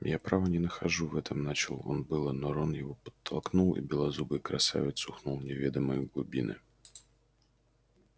я право не нахожу в этом начал он было но рон его подтолкнул и белозубый красавец ухнул в неведомые глубины